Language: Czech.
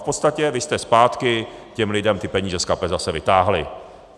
V podstatě vy jste zpátky těm lidem ty peníze z kapes zase vytáhli.